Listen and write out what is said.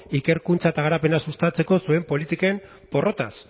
ikerkuntza eta garapena sustatzeko zuen politiken porrotaz